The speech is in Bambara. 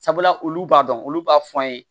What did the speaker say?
Sabula olu b'a dɔn olu b'a fɔ an ye